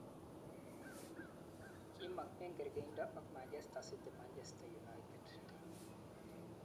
kimong eng kargeindo ak Manchester city, Manchester United.